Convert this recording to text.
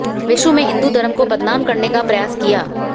विश्व में हिन्दू धर्म को बदनाम करने का प्रयास किया